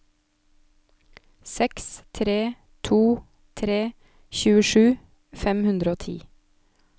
seks tre to tre tjuesju fem hundre og ti